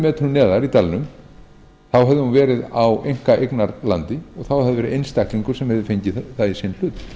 metrum neðar í dalnum hefði hún verið á einkaeignarlandi og þá hefði það verið einstaklingur sem hefði fengið það í